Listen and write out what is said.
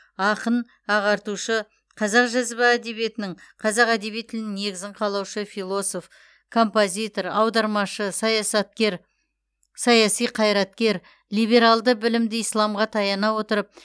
ақын ағартушы қазақ жазба әдебиетінің қазақ әдеби тілінің негізін қалаушы философ композитор аудармашы саясаткер саяси қайраткер либералды білімді исламға таяна отырып